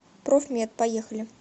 профмед поехали